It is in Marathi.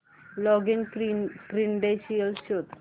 लॉगिन क्रीडेंशीयल्स शोध